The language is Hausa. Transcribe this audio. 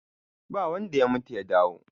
ba wanda ya mutu ya dawo